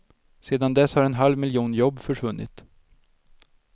Sedan dess har en halv miljon jobb försvunnit.